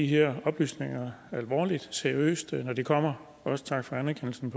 her oplysninger alvorligt og seriøst når de kommer også tak for anerkendelsen